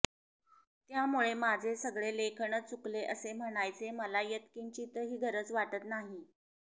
त्यामुळे माझे सगळे लेखनच चुकले असे म्हणायचे मला यत्किंचीतही गरज वाटत नाही